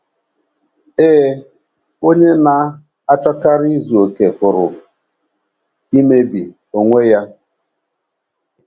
Ee, onye na - achọkarị izu okè pụrụ ‘ imebi ’ onwe ya!